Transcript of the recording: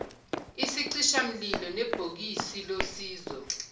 isicishamlilo nebhokisi losizo